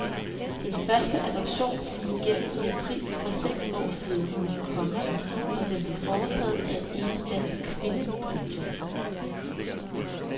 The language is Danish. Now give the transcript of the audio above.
Den første adoption gik igennem i april for seks år siden, komma og den blev foretaget af en enlig dansk kvinde. punktum